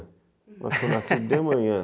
Eu nasci de manhã.